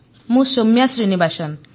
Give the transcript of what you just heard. ମୁଁ ସୌମ୍ୟା ଶ୍ରୀନିବାସନ୍